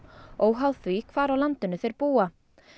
óháð því hvar á landinu þeir búa